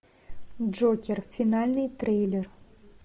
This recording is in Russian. джокер финальный трейлер